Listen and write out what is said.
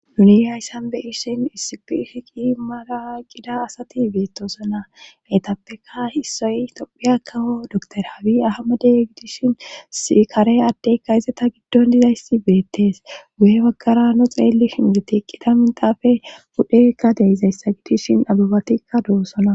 Nuni hayssan beyishin issipishiqi mala qida asati beettosonna etappeka hissoy tophiya kaho doktorhaawi ahamade gidishin sikare addekka izata giddon dizayssi beettes wu7e baggara no xeeli hingitiqqida mintaafe pudhekka deizayssa gidishin abubatikka doossona.